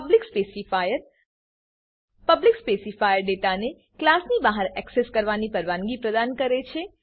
public specifier public specifier public specifier ડેટાને ક્લાસની બહાર એક્સેસ કરવાની પરવાનગી પ્રદાન કરે છે